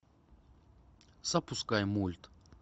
запускай мульт